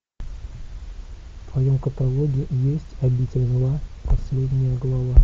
в твоем каталоге есть обитель зла последняя глава